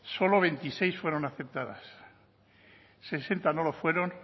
solo veintiséis fueron aceptadas sesenta no lo fueron